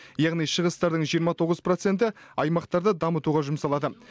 яғни шығыстардың жиырма тоғыз проценті аймақтарды дамытуға жұмсалады